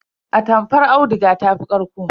Atamfar auduga ta fi ƙarƙo.